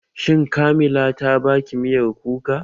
Shin Kamila ta baki miyar kuka?